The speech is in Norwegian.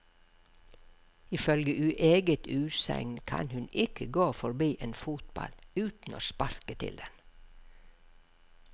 Ifølge eget utsagn kan hun ikke gå forbi en fotball uten å sparke til den.